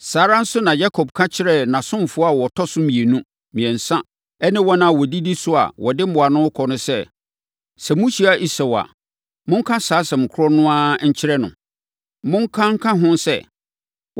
Saa ara nso na Yakob ka kyerɛɛ nʼasomfoɔ a wɔtɔ so mmienu, mmiɛnsa ne wɔn a wɔdidi so a wɔde mmoa no rekɔ no sɛ, “Sɛ mohyia Esau a, monka saa asɛm korɔ no ara nkyerɛ no. Monka nka ho sɛ,